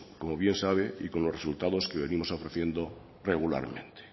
como bien sabe y con los resultados que venimos ofreciendo regularmente